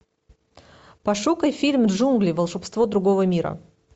пошукай фильм джунгли волшебство другого мира